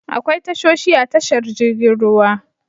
Akwai tashoshi a tashar jirgin ruwa.